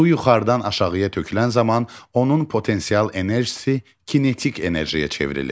Su yuxarıdan aşağıya tökülən zaman onun potensial enerjisi kinetik enerjiyə çevrilir.